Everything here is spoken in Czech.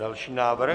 Další návrh.